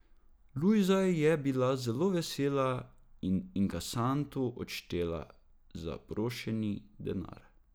Lujza je bila zelo vesela in inkasantu odštela zaprošeni denar.